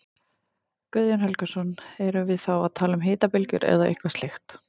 Guðjón Helgason: Erum við þá að tala um hitabylgjur eða eitthvað slíkt?